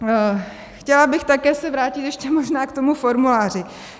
Chtěla bych se také vrátit ještě možná k tomu formuláři.